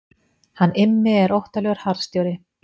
Hann Immi er óttalegur harðstjóri.